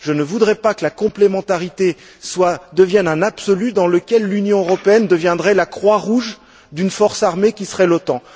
Je ne voudrais pas que la complémentarité devienne un absolu dans lequel l'Union européenne deviendrait la Croix Rouge d'une force armée qui serait l'OTAN.